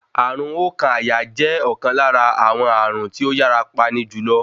Ààrùn oókan àyà jẹ́ ọ̀kan lára àwọn ààrùn tí ó yàra pani jùlọ.